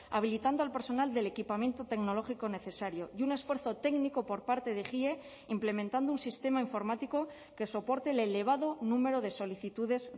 habilitando al personal del equipamiento tecnológico necesario y un esfuerzo técnico por parte de ejie implementando un sistema informático que soporte el elevado número de solicitudes